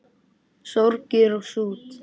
Sorgir og sút